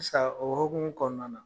Sisan o hokumu kɔnɔna na